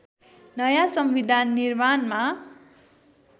नयाँ संविधान निर्माणमा